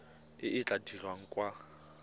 e e tla dirwang kwa